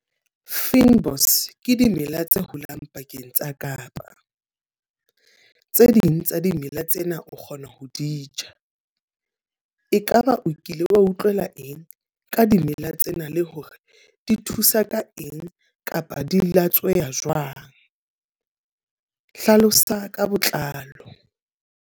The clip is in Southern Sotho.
Fynbos ke dimela tse holang pakeng tsa Kapa. Tse ding tsa dimela tsena o kgona ho di ja. E ka ba o kile a wa utlwela eng ka dimela tsena? Le hore di thusa ka eng, kapa di latsweha jwang? Hlalosa ka botlalo.